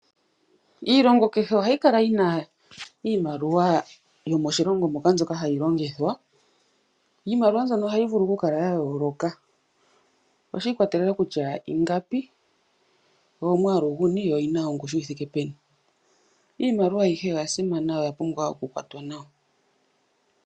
Iilongo kehe ohayi kala yina iimaliwa yomoshilongo moka mbyoka hayi longithwa, iimaliwa mbyono ohayi vulu oku kala ya yooloka, oshi ikwatelela kutya inagapi, no yomwaalu guni yo oyina ongushu yi thike peni. Iimaliwa ayihe oya simana yo oya pumbwa oku kwatwa nawa.